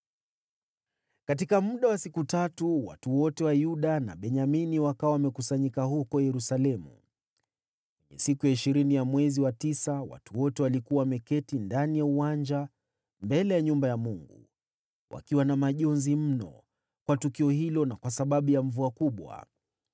Katika muda wa siku tatu, watu wote wa Yuda na Benyamini wakawa wamekusanyika huko Yerusalemu. Kwenye siku ya ishirini ya mwezi wa tisa, watu wote walikuwa wameketi ndani ya uwanja mbele ya nyumba ya Mungu, wakiwa na majonzi mno kwa tukio hilo na kwa sababu ya mvua kubwa.